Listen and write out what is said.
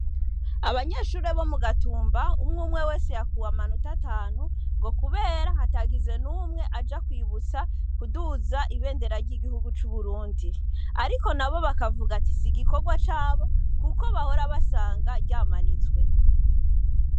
Abanyeshure bo mugatumba umwe wese yakuwe amanota atanu ngo kubera hatagize numwe aja kwibutsa kuduza ibindera ryigihugu cuburundi ariko nabo bakavuga sigikorwa cabo kuko bahora basanga ryamanitse